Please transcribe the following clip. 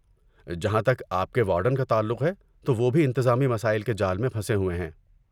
جہاں تک آپ کے وارڈن کا تعلق ہے تو وہ بھی انتظامی مسائل کے جال میں پھنسے ہوئے ہیں۔